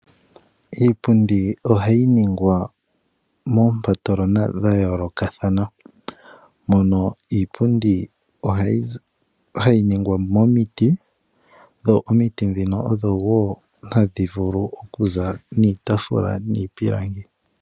Iipundi ohayi ningwa moompatolona dha yoolokathana. Mono iipundi hayi ningwa momiti, dho omiti ndhino odho wo hadhi vulu okuza iitaafula niipundi.